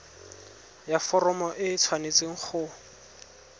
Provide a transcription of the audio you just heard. ya foromo e tshwanetse go